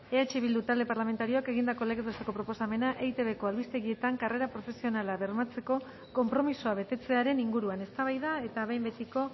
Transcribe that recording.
eh bildu talde parlamentarioak egindako legez besteko proposamena eitbko albistegietan karrera profesionala bermatzeko konpromisoa betetzearen inguruan eztabaida eta behin betiko